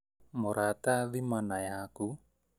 Mũrata thima na yaku